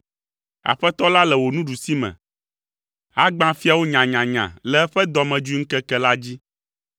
Aƒetɔ la le wò nuɖusime, agbã fiawo nyanyanya le eƒe dɔmedzoeŋkeke la dzi.